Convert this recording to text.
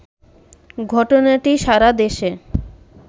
ঘটনাটি সারা দেশে